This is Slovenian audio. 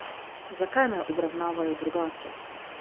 Zakaj me obravnavajo drugače?